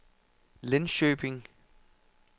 Linköping